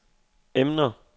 emner